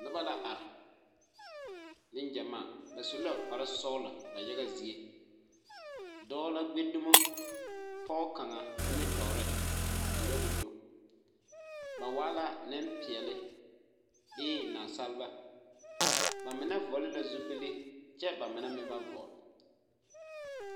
Noba la are negyamaa. Ba su la kpare sɔgelɔ ba yaga zie. Dɔɔ la gbi dumo pɔge kaŋa nimtɔɔre a nyɔge o nu. Ba waa la nempeɛle bee naasaleba. Ba mine vɔgele la zupile kyɛ ba mine meŋ ba vɔgele.